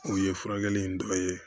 O ye furakɛli in dɔ ye